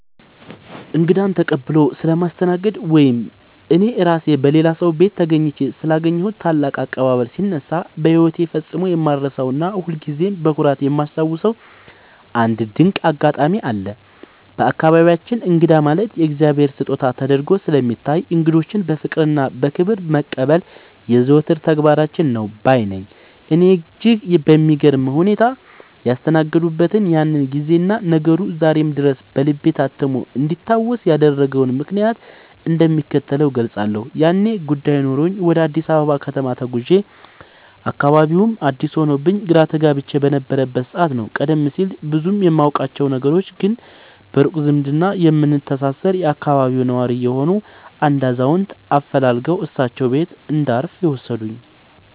እንግዳን ተቀብሎ ስለማስተናገድ ወይም እኔ ራሴ በሌላ ሰው ቤት ተገኝቼ ስላገኘሁት ታላቅ አቀባበል ሲነሳ፣ በሕይወቴ ፈጽሞ የማልረሳውና ሁልጊዜም በኩራት የማስታውሰው አንድ ድንቅ አጋጣሚ አለ። በአካባቢያችን እንግዳ ማለት የእግዚአብሔር ስጦታ ተደርጎ ስለሚታይ፣ እንግዶችን በፍቅርና በክብር መቀበል የዘወትር ተግባራችን ነው ባይ ነኝ። እኔን እጅግ በሚገርም ሁኔታ ያስተናገዱበትን ያንን ጊዜና ነገሩ ዛሬም ድረስ በልቤ ታትሞ እንዲታወስ ያደረገውን ምክንያት እንደሚከተለው እገልጻለሁ፦ ያኔ ጉዳይ ኖሮኝ ወደ አዲስ አበባ ከተማ ተጉዤ፣ አካባቢውም አዲስ ሆኖብኝ ግራ ተጋብቼ በነበረበት ሰዓት ነው፤ ቀደም ሲል ብዙም የማውቃቸው፣ ነገር ግን በሩቅ ዝምድና የምንተሳሰር የአካባቢው ነዋሪ የሆኑ አንድ አዛውንት አፈላልገው እሳቸው ቤት እንዳርፍ የወሰዱኝ።